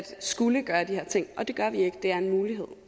skulle gøre de her ting og det gør vi ikke det er en mulighed